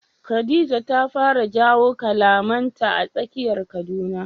Khadija ta fara jiyo kalamanta a tsakiyar Kaduna.